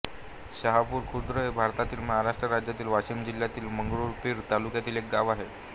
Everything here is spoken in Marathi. शाहपूर खुर्द हे भारतातील महाराष्ट्र राज्यातील वाशिम जिल्ह्यातील मंगरुळपीर तालुक्यातील एक गाव आहे